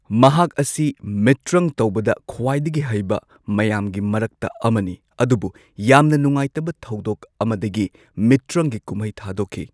ꯃꯍꯥꯛ ꯑꯁꯤ ꯃꯤꯇ꯭ꯔꯪ ꯇꯧꯕꯗ ꯈ꯭ꯋꯥꯢꯗꯒꯤ ꯍꯩꯕ ꯃꯌꯥꯝꯒꯤ ꯃꯔꯛꯇ ꯑꯃꯅꯤ꯫ ꯑꯗꯨꯕꯨ ꯌꯥꯝꯅ ꯅꯨꯡꯉꯥꯢꯇꯕ ꯊꯧꯗꯣꯛ ꯑꯃꯗꯒꯤ ꯃꯤꯇ꯭ꯔꯪꯒꯤ ꯀꯨꯝꯍꯩ ꯊꯥꯗꯣꯛꯈꯤ꯫